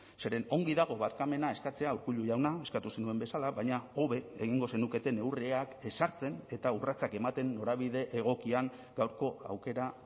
zeren ongi dago barkamena eskatzea urkullu jauna eskatu zenuen bezala baina hobe egingo zenuketen neurriak ezartzen eta urratsak ematen norabide egokian gaurko aukera